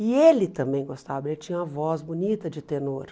E ele também gostava, ele tinha uma voz bonita de tenor.